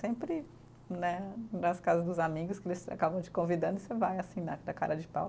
Sempre né, nas casas dos amigos, que eles acabam te convidando e você vai assim, né na cara de pau.